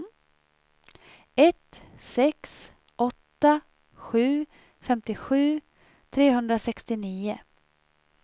ett sex åtta sju femtiosju trehundrasextionio